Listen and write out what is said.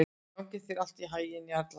Gangi þér allt í haginn, Jarla.